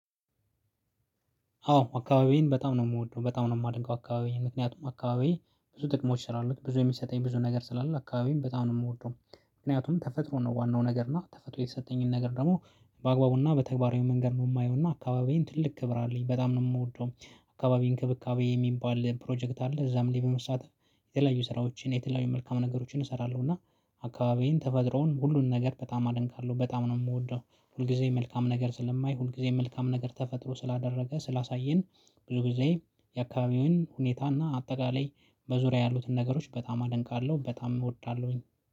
አዎ አካባቢዬን በጣም ነው የምወደው በጣም ነው የማደንቀው አካባቢዬ ምክንያቱም አካባቢ ብዙ ጥቅሞች ስላሉት ብዙ የሚሰጠኝ ብዙ ነገር ስላለ አካባቢዬን በጣም ነው የምወደው። ምክንያቱም ተፈጥሮ ነው ዋናው ነገር እና ተፈጥሮ የሰጠኝን ነገር ደግሞ በአግባቡና በተግባራዊ መንገድ ነው የማየውና አካባቢዬን ትልቅ ክብር አለኝ በጣም ነው የምወደው። አካባቢ እንክብካቤ የሚባል ፕሮጀክት አለ። እዛም ላይ በመሳተፍ የተለያዩ ስራዎችን የተለያዩ መልካም ነገሮችን እሰራለሁ። እና አካባቢዬን ተፈጥሮን ሁሉን ነገር በጣም አደንቃለሁ በጣም ነው የምወደው። ሁልጊዜ መልካም ነገር ስለማይ ሁልጊዜ መልካም ነገር ተፈጥሮ ስላደረገ ስላሳየን። ብዙ ጊዜ የአካባቢዬን ሁኔታና አጠቃላይ በዙሪያ ያሉትን ነገሮች በጣም አደንቃለሁ በጣም እወዳለሁኝ።